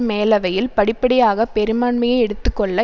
மேலவையில் படிப்படியாக பெரும்பான்மையை எடுத்து கொள்ள